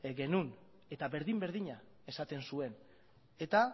genuen eta berdin berdina esaten zuen eta